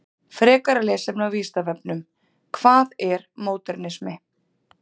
Frekara lesefni á Vísindavefnum: Hvað er módernismi?